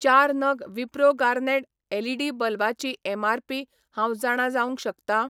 चार नग Wipro garnet LED बल्बा ची एमआरपी हांव जाणा जावंक शकता ?